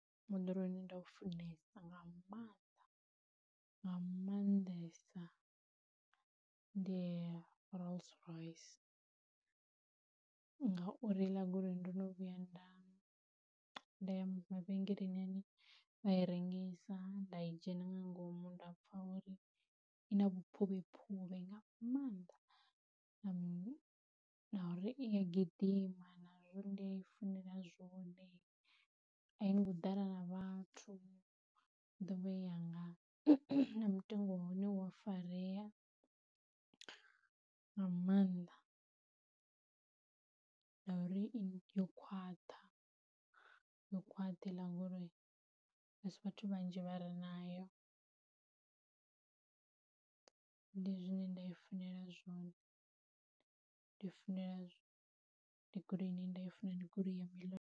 Moḓoro une nda u funesa nga maanḓa nga maanḓesa ndi Rolls-Royce, ngauri he iḽa goloi ndo no vhuya nda nda ya mavhengeleni ane vha i rengisa nda i dzhena nga ngomu ndapfa uri i na vhuphuvhephuvhe nga maanḓa na uri i a gidima nazwo ndi i funela zwone, a i ngo ḓala na vhathu, I dovha I yanga, na mutengo wa hone u a farea nga maanḓa, na uri yo khwaṱha yo khwaṱhe heiḽa goloi asi vhathu vhanzhi vha re nayo. Ndi zwine nda i funesa zwone ndi i funela ndi goloini nda i funesa ndi goloi ya